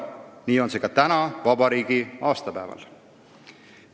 Nii on see ka täna, vabariigi aastapäeval.